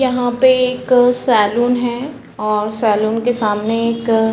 यहाँ पे एक सैलून है और सैलून के सामने एक --